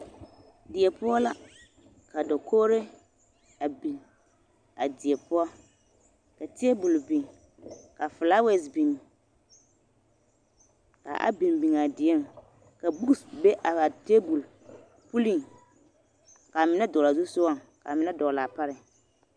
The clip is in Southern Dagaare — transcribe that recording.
Die poɔ la ka dakogri a biŋ a die poɔ ka tabol biŋ ka falawase biŋ ka a biŋ biŋ a dieŋ ka gama be a tabol puliŋ ka mine dɔgle a zu sogaŋ ka mine dɔgle a pareŋ.